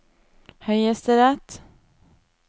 høyesterett